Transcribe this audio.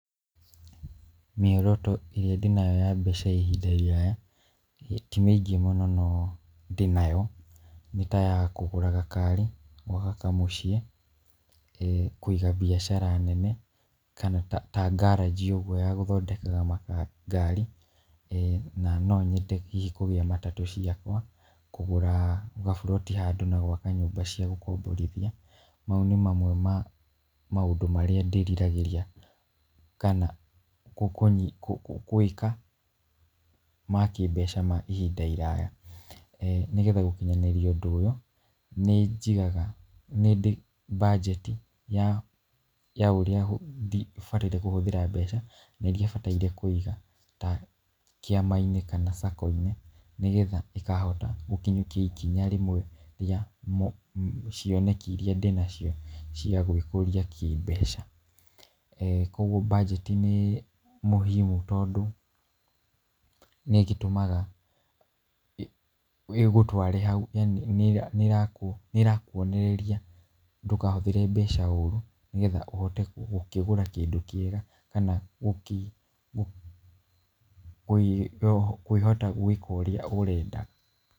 Mĩoroto ĩrĩa ndĩnayo ya mbeca ihinda iraya, ti mĩingĩ mũno no ndĩnayo nĩ ta ya kũgũra gakari, gwaka kamũciĩ, ee kũiga biacara nene ta ngaranji ũguo ya gũthondekaga ngari, na no nyende hihi kũgĩa matatũ ciakwa, kũgũra gaburoti handu na gwaka nyũmba cia gũkomborithia , mau nĩ maũndũ mamwe na maũndũ marĩa ndĩriragĩria, kana gwĩka ma kĩmbeca kwa ihinda iraya, eeh nĩgetha gũkinyanĩria ũndũ ũyũ nĩ njigaga, nĩndĩ banjeti ya ũrĩa bataire kũhũthĩra mbeca na iria bataire kũiga ta kĩama-inĩ kana Sacco-inĩ , nĩgetha ngahota gũkinyũkia ikinya rĩmwe rĩa cioneki iria ndĩnacio cia gwĩkũria kĩmbeca, eeh koguo banjeti nĩ mũhimu, tondũ nĩ ĩgĩtũmaga ĩgũtware hau, yaani nĩ ĩrakwonereria ndũkahũthĩre mbeca ũru , nĩgetha ũkĩhote gũkĩgũra kĩndũ kĩega na kũhota gwĩka ũrĩa ũrenda.